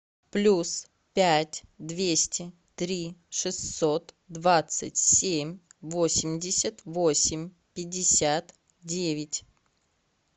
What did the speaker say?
плюс пять двести три шестьсот двадцать семь восемьдесят восемь пятьдесят девять